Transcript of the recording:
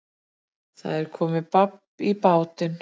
Það er komið babb í bátinn